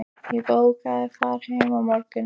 Ég á bókað far heim á morgun.